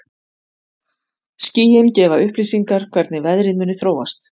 Skýin gefa upplýsingar hvernig veðrið muni þróast.